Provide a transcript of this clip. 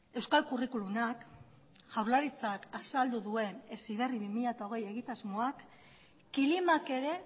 euskal curriculumak jaurlaritzak azaldu duen heziberri bi mila hogei egitasmoak kilimak ere